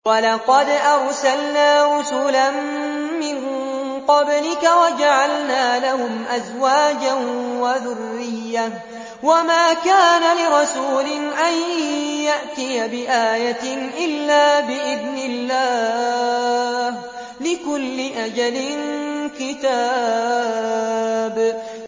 وَلَقَدْ أَرْسَلْنَا رُسُلًا مِّن قَبْلِكَ وَجَعَلْنَا لَهُمْ أَزْوَاجًا وَذُرِّيَّةً ۚ وَمَا كَانَ لِرَسُولٍ أَن يَأْتِيَ بِآيَةٍ إِلَّا بِإِذْنِ اللَّهِ ۗ لِكُلِّ أَجَلٍ كِتَابٌ